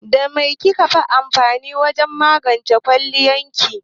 Da mai kike amfani wajen magance kawalin ki?